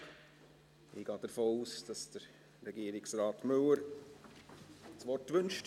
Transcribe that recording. Ich gehe davon aus, dass Regierungsrat Müller das Wort wünscht.